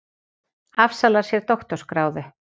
Afsalar sér doktorsgráðu